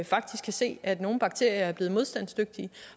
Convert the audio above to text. faktisk kan se at nogle bakterier er blevet modstandsdygtige